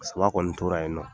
Paseke an kɔni tora yen nɔ